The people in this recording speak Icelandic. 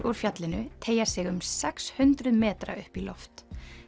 úr fjallinu teygja sig um sex hundruð metra upp í loft